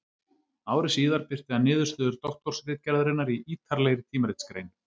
Ári síðar birti hann niðurstöður doktorsritgerðarinnar í ýtarlegri tímaritsgrein.